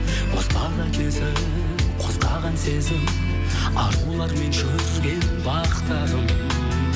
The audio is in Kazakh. бозбала кезім қозғаған сезім арулармен жүрген бақтарым